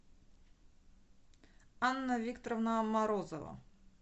анна викторовна морозова